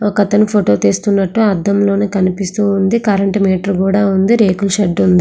ఒక అతని ఫోటో తీస్తున్నట్లుగా అద్దంలో కనిపిస్తుంది కరెంటు మీటర్ కూడా ఉంది రేకుల షెడ్డు కూడా ఉంది.